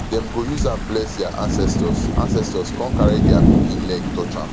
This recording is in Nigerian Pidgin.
dem go use am bless dia ancestors ancestors con carry di pikin leg touch am